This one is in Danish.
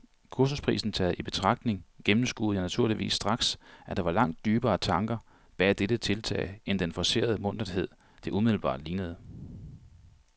Kursusprisen taget i betragtning gennemskuede jeg naturligvis straks, at der var langt dybere tanker bag dette tiltag end den forcerede munterhed, det umiddelbart lignede.